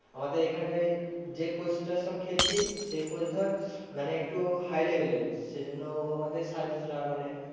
আমাদের এখানটায় যে coach টার সাথে খেলছি সেই coach ধর মানে একটু high level এর সেই জন্য আমাদের সাড়ে তিনশো টাকা করে নেয়।